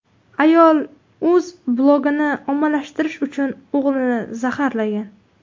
Ayol o‘z blogini ommalashtirish uchun o‘g‘lini zaharlagan.